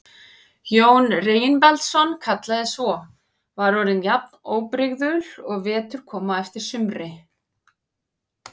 Jón Reginbaldsson kallaði svo, var orðin jafn óbrigðul og vetur kom á eftir sumri.